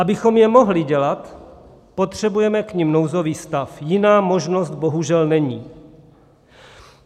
Abychom je mohli dělat, potřebujeme k nim nouzový stav, jiná možnost bohužel není.